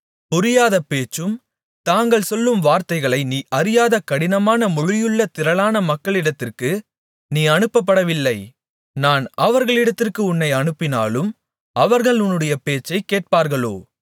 புரியாத பேச்சும் தாங்கள் சொல்லும் வார்த்தைகளை நீ அறியாத கடினமான மொழியுமுள்ள திரளான மக்களிடத்திற்கு நீ அனுப்பப்படவில்லை நான் அவர்களிடத்திற்கு உன்னை அனுப்பினாலும் அவர்கள் உன்னுடைய பேச்சை கேட்பார்களோ